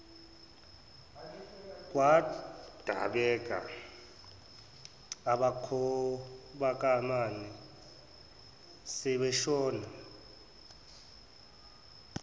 kwadabeka abakhabokamama sebashona